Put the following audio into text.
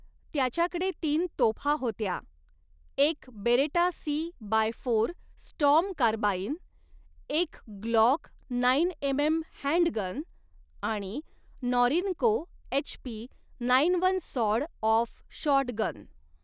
त्याच्याकडे तीन तोफा होत्या, एक Beretta C by four storm carbine, एक ग्लॉक नाईन एमएम हँडगन आणि Norinco HP nine one sawed off shotgun.